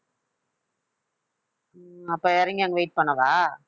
அப்ப இறங்கி அங்க wait பண்ணவா